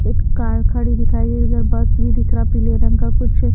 एक कार खड़ी दिखाई दे रही बस भी दिख रहा पीले रंग का कुछ--